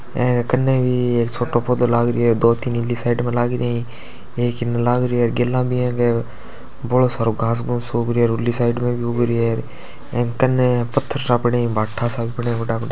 कन्ने भी एक छोटो पौधों लाग रहयो है दो-तीन इन्ली साइड में लग रहया है एक इन्न लागर्यो है गेला म बोलो सारो घास फूस उग रहयो है उँली साइड म भी उग्ग रही है कन्ने पत्थर सा क पड्या है भाटा सा क पड्या है बड़ा-बड़ा --